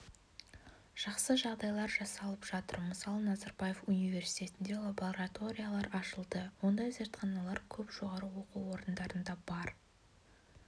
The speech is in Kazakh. жақсы жағдайлар жасалып жатыр мысалы назарбаев университетінде лабораториялар ашылды ондай зертханалар көп жоғары оқу орындарында бар